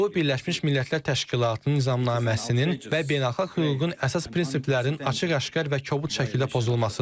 Bu Birləşmiş Millətlər Təşkilatının nizamnaməsinin və beynəlxalq hüququn əsas prinsiplərinin açıq-aşkar və kobud şəkildə pozulmasıdır.